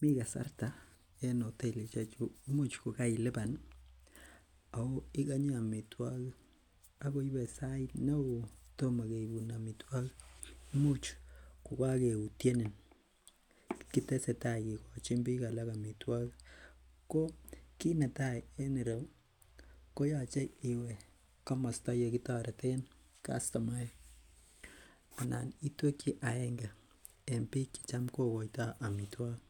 Mii kasarta en hoteli neimuch ko keilipan ako ikonye amitwogik akoibe sait neoo kotomo keibun amitwogik imuch kokokeutyenin, kitesetai kikochin biik alak amitwogik ko kit netaa en ireu ko yoche iwe komosta yekitoreten kastomaek anan itwekyi agenge en biik chetam kokoitoo amitwogik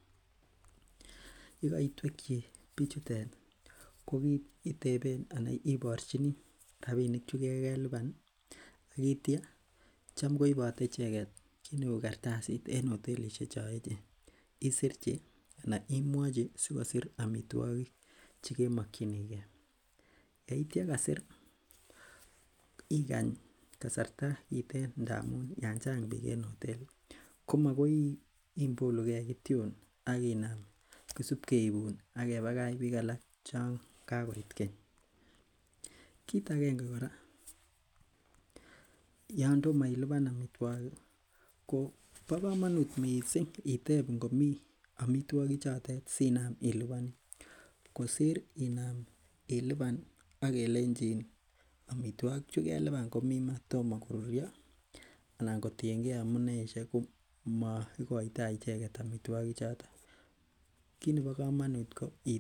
yekoitwekyi bichutet ko iteben anan iborchini rapinik chekokelipan ih ak itya tam koibote icheket kiy neu kartasit en hotelishiek chon echen, isirchi anan imwochi sikosir amitwogik chekimokyingee. Yeitya kasir ikany kasarta itep ndamun yan chang biik en hoteli komokoi imolugee kityon ak inam kisip keibun ak kebakach biik alak chon kakoit keny. Kit agenge kora yan tomo ilipan amitwogik kobo komonut missing itep ngomii amitwogik chotet sinam ilipan kosir inam ilipan ak kelenjin amitwogik chekelipan komii maa tomo koruryo anan kotiengee amuneisiek ko moikoitoo amitwogik choton. Kit nebo komonut kot itep